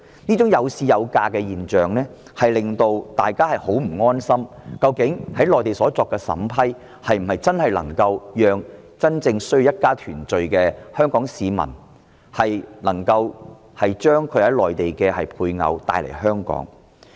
這種"有市有價"的現象，令大家很不安心，質疑內地所作的審批，究竟是否能讓真正需要一家團聚的香港人將他們的內地配偶帶來香港。